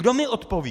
Kdo mi odpoví?